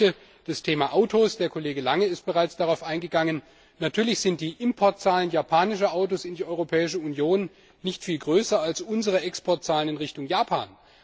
Gleiches gilt für das Thema Autos der Kollege Lange ist bereits darauf eingegangen Natürlich sind die Importzahlen japanischer Autos in die Europäische Union nicht viel größer als unsere Exportzahlen in Richtung Japan.